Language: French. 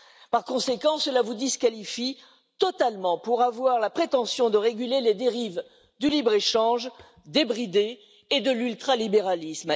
Par conséquent, cela vous disqualifie totalement pour avoir la prétention de réguler les dérives du libre échange débridé et de l'ultra libéralisme.